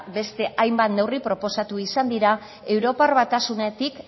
beste hainbat neurri proposatu izan dira europar batasunetik